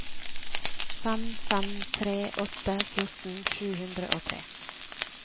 fem fem tre åtte fjorten sju hundre og tre